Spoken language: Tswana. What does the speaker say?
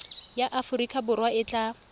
ya aforika borwa e tla